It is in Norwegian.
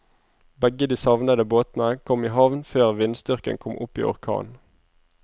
Begge de savnede båtene kom i havn før vindstyrken kom opp i orkan.